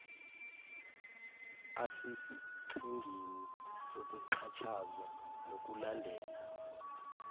asesichengeni sokuxhatshazwa nokulandela